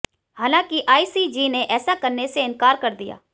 हालांकि आईसीजे ने ऐसा करने से इंकार कर दिया